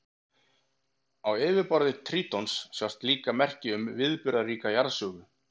Á yfirborði Trítons sjást líka merki um viðburðaríka jarðsögu.